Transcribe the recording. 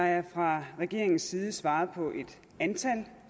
der er fra regeringens side svaret på et antal